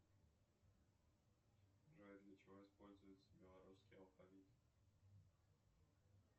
джой для чего используется белорусский алфавит